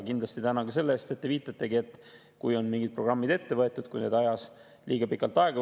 Kindlasti tänan ka viite eest, et mingid programmid on ette võetud ja need võtavad liiga pikalt aega.